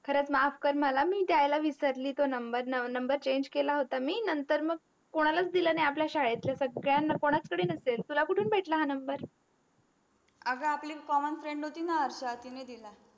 खरच माफ कर मला मी द्यायला विसरली टो number number change केला होत मी नंतर मग कोणालाच दिल नाही आपल्या शाडेतल्या स्ग्द्याना कोणाकडेच नसेल तुला कुटून भेटला हा number अग आपली commen friends होती न हर्शा तिनी दिला